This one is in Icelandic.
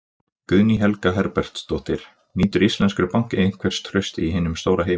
Guðný Helga Herbertsdóttir: Nýtur íslenskur banki einhvers trausts í hinum stóra heimi?